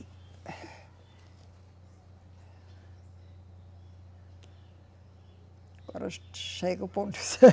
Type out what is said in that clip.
Agora chego